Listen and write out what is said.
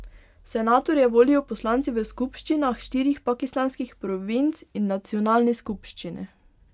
Senatorje volijo poslanci v skupščinah štirih pakistanskih provinc in nacionalni skupščini.